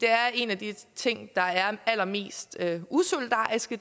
er en af de ting der er allermest usolidarisk